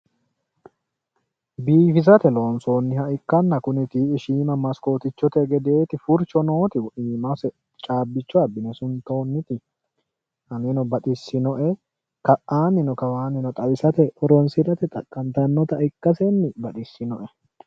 Biifisate loonsoonniha kuni tii"i shiima maskootichote gedeeti furcho nooti iimase caabbicho abbine suntoonniti aneno baxissinoe. Ka'aannino kawaannino xawisate xaqqantannota ikkasenni baxissinoe.